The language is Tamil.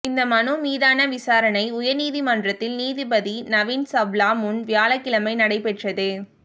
இந்த மனு மீதான விசாரணை உயா்நீதிமன்றத்தில் நீதிபதி நவீன் சாவ்லா முன் வியாழக்கிழமை நடைபெற்றது